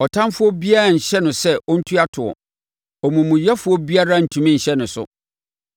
Ɔtamfoɔ biara renhyɛ no sɛ ɔntua toɔ; omumuyɛfoɔ biara rentumi nhyɛ ne so.